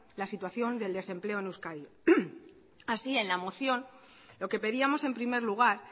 la situación de desempleo en euskadi así en la moción lo que pedíamos en primer lugar